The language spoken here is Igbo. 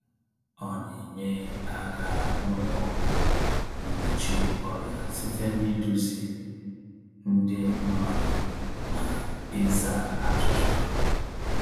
Ọ na-enye aka n’ụlọ ọgwụ mgbochi ọrịa site n’ịduzi ndị mmadụ na ịza ajụjụ ha.